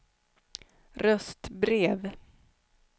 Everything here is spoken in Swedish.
röstbrev